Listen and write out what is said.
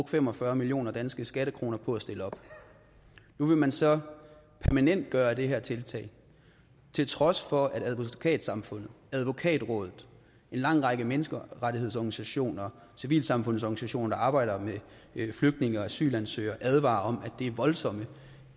fem og fyrre million danske skattekroner på at stille op nu vil man så permanentgøre det her tiltag til trods for at advokatsamfundet advokatrådet en lang række menneskerettighedsorganisationer og civilsamfundsorganisationer der arbejder med flygtninge og asylansøgere advarer om at det er voldsomme